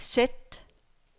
sæt